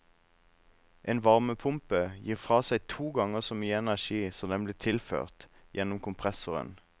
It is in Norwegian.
En varmepumpe gir fra seg to ganger så mye energi som den blir tilført gjennom kompressoren.